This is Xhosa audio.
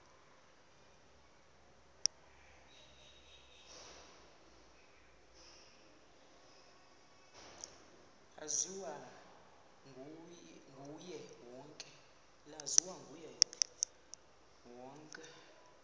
laziwa nguye wonke